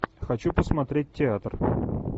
хочу посмотреть театр